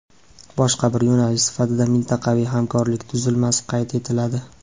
Boshqa bir yo‘nalish sifatida mintaqaviy hamkorlik tuzilmasi qayd etiladi.